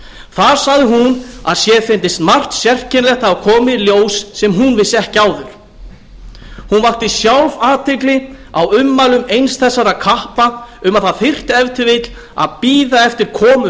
þar sagði hún að sér fyndist margt sérkennilegt hafa komið í ljós sem hún vissi ekki áður hún vakti sjálf athygli á ummælum eins þessara kappa um að það þyrfti ef til vill að bíða eftir komu